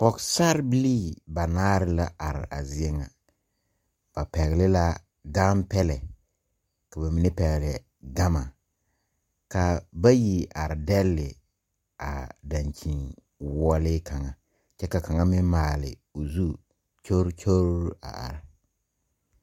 Pɔgsarre bilii banaare la arẽ a zeɛ nga ba pɛgli la ganpɛlɛ kaba mene pɛgle gama kaa bayi arẽ dele a dankyeni woɔlee kanga kye ka kanga meng maale ɔ zu kyolkyol a arẽ.